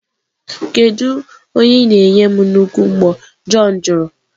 Kedu onye ị na-enye m nnukwu mbo? John jụrụ.